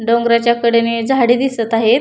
डोंगराच्या कडेने झाडी दिसत आहेत.